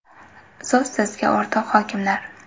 So‘z sizga o‘rtoq hokimlar.